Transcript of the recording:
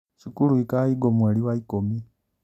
Cukuru ikahingwo mweri wa ikũmi